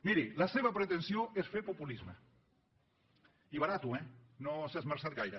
miri la seva pretensió és fer populisme i barat eh no s’hi ha esmerçat gaire